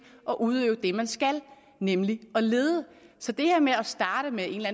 at udøve det man skal nemlig at lede så det her med at starte med en eller